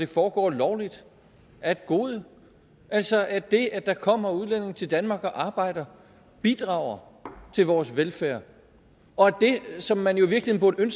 foregår lovligt er et gode altså at det at der kommer udlændinge til danmark og arbejder bidrager til vores velfærd og at det som man i virkeligheden